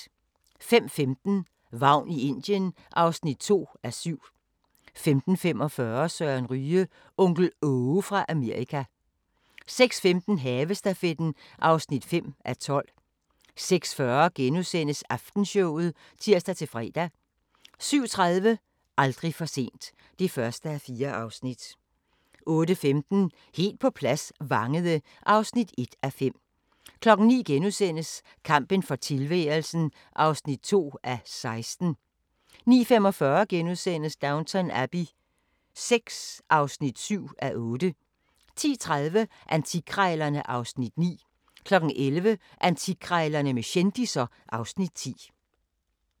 05:15: Vagn i Indien (2:7) 05:45: Søren Ryge – Onkel Aage fra Amerika 06:15: Havestafetten (5:12) 06:40: Aftenshowet *(tir-fre) 07:30: Aldrig for sent (1:4) 08:15: Helt på plads – Vangede (1:5) 09:00: Kampen for tilværelsen (2:16)* 09:45: Downton Abbey VI (7:8)* 10:30: Antikkrejlerne (Afs. 9) 11:00: Antikkrejlerne med kendisser (Afs. 10)